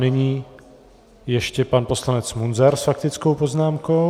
Nyní ještě pan poslanec Munzar s faktickou poznámkou.